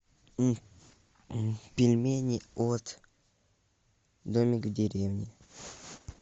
пельмени от домик в деревне